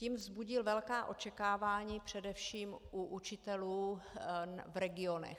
Tím vzbudil velká očekávání především u učitelů v regionech.